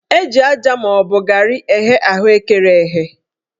Eji aja maọbụ garị eghe ahụekere eghe